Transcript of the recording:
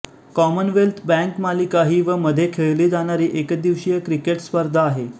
Commonwealth bank मालिका ही व मध्ये खेळली जाणारी एकदिवसीय क्रिकेट स्पर्धा आहे